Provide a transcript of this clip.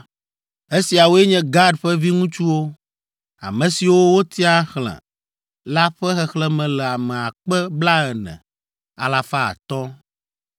Esiawoe nye Gad ƒe viŋutsuwo, ame siwo wotia xlẽ la ƒe xexlẽme le ame akpe blaene, alafa atɔ̃ (40,500).